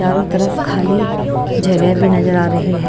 चारों तरफ खाली जगह भी नजर आ रही है।